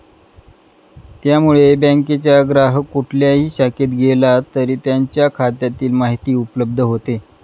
त्यामुळे बँकेच्या ग्राहक कुठल्याही शाखेत गेला तरी त्यांच्या खात्यातील माहिती उपलब्ध होते.